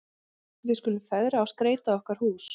Við skulum fegra og skreyta okkar hús.